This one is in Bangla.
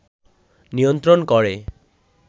নিয়ন্ত্রণ করে